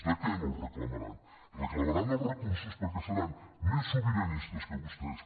de què no els reclamaran reclamaran els recursos perquè seran més sobiranis·tes que vostès